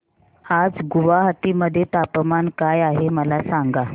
आज गुवाहाटी मध्ये तापमान काय आहे मला सांगा